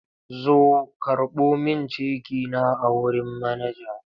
Zo karɓo min ceki na a wurin manaja!